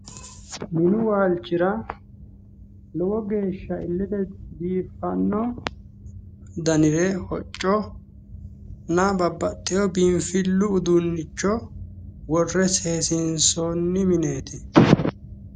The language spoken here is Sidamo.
Minu waalchira lowo geehsha illete biiffanno danire hocconna babbaxxeyo biinfillu uduunnicho worre seesiinsoonni mineeti.